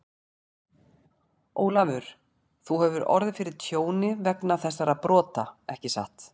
Ólafur, þú hefur orðið fyrir tjóni vegna þessara brota, ekki satt?